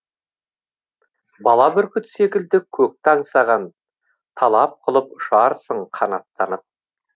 бала бүркіт секілді көкті аңсаған талап қылып ұшарсың қанаттанып